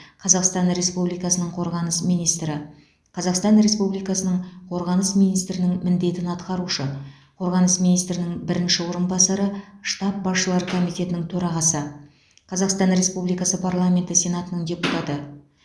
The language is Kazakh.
қазақстан республикасының қорғаныс министрі қазақстан республикасының қорғаныс министрінің міндетін атқарушы қорғаныс министрінің бірінші орынбасары штаб басшылары комитетінің төрағасы қазақстан республикасы парламенті сенатының депутаты